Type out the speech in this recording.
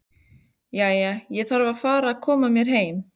Jæja, ég þarf að fara að koma mér heim